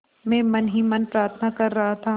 मैं मन ही मन प्रार्थना कर रहा था